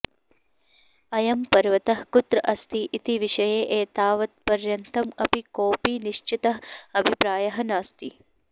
अयं पर्वतः कुत्र अस्ति इति विषये एतावत्पर्यन्तम् अपि कोपि निश्चितः अभिप्रायः नास्ति